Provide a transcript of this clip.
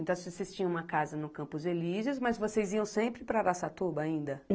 Então, vocês tinham uma casa no Campos Elíseos, mas vocês iam sempre para Araçatuba ainda?